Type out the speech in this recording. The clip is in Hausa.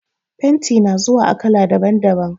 Fenti na zuwa a kala daban-daban.